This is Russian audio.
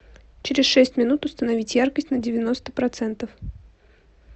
через шесть минут установить яркость на девяносто процентов